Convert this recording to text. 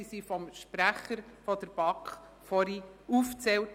Diese wurden zuvor vom Sprecher der BaK aufgezählt.